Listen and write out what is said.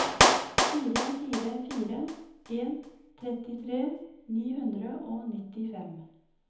fire fire fire en trettitre ni hundre og nittifem